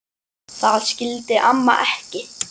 Það skildi amma ekki.